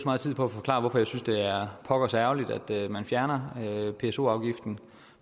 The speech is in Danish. meget tid på at forklare hvorfor jeg synes at det er pokkers ærgerligt at man fjerner pso afgiften